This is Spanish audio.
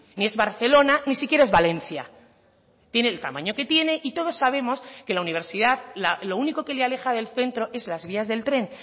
ni es barcelona ni siquiera es valencia tiene el tamaño que tiene y todos sabemos que la universidad lo único que le aleja del centro es las vías del tren